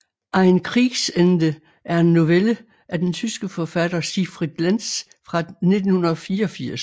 Ein Kriegsende er en novelle af den tyske forfatter Siegfried Lenz fra 1984